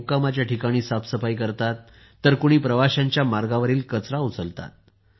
कुणी मुक्कामाच्या ठिकाणी साफसफाई करत आहेत तर कुणी प्रवाशांच्या मार्गावरील कचरा उचलत आहेत